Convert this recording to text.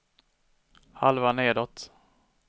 halva nedåt